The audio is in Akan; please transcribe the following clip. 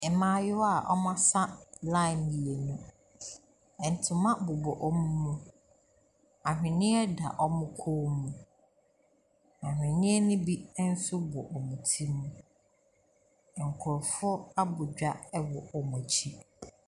Mmaayewa a wɔasa line mmienu, ntoma bobɔ wɔn mu, aweneɛ deda wɔn kɔn mu, aweneɛ ne bi nso bɔ wɔn ti mu. Nkurɔfoɔ abɔ dwa wɔ wɔn akyi.